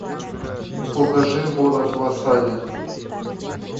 покажи город в осаде